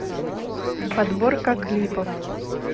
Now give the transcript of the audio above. подборка клипов